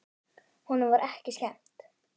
Honum var ekki skemmt!